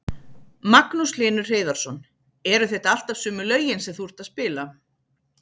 Magnús Hlynur Hreiðarsson: Eru þetta alltaf sömu lögin sem þú ert að spila?